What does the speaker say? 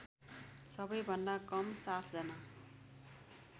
सबैभन्दा कम ७जना